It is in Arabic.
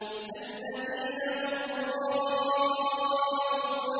الَّذِينَ هُمْ يُرَاءُونَ